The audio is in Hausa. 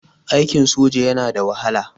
Aikin soja yana da wahala.